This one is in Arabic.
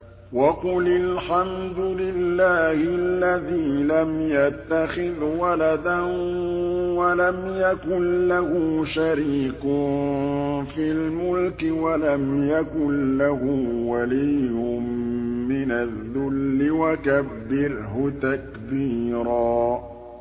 وَقُلِ الْحَمْدُ لِلَّهِ الَّذِي لَمْ يَتَّخِذْ وَلَدًا وَلَمْ يَكُن لَّهُ شَرِيكٌ فِي الْمُلْكِ وَلَمْ يَكُن لَّهُ وَلِيٌّ مِّنَ الذُّلِّ ۖ وَكَبِّرْهُ تَكْبِيرًا